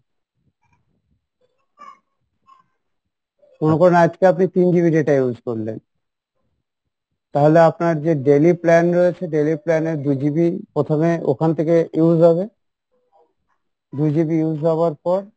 মনে করুন আজকে আপনি তিন GB data use করলেন তাহলে আপনার যে daily plan রয়েছে daily plan এর দু GB প্রথমে ওখান থেকে use হবে দুই GB use হওয়ার পর